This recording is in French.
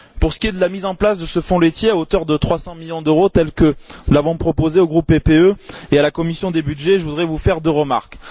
Pour ce qui est de la mise en place de ce fonds laitier à hauteur de 300 millions d'euros, tel que nous l'avons proposé au groupe PPE et à la commission des budgets, je voudrais vous faire deux remarques.